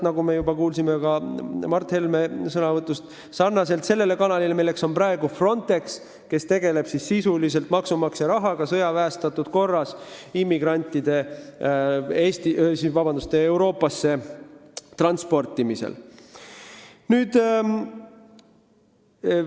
Nagu me juba kuulsime Mart Helme sõnavõtust, see sarnaneb selle kanaliga, milleks on praegu Frontex, kes sisuliselt maksumaksja rahaga sõjaväestatud korras immigrante Euroopasse transpordib.